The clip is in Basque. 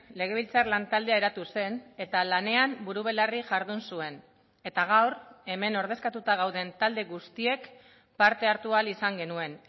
legebiltzar lan taldea eratu zen eta lanean buru belarri jardun zuen eta gaur hemen ordezkatuta gauden talde guztiek parte hartu ahal izan genuen